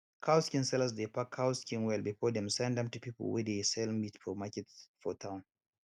cow skin sellers dey pack cow skin well before dem send am to pipu wey dey sell meat for market for town